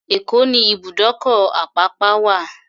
Èkó ní ibùdókọ̀-Àpápá wà.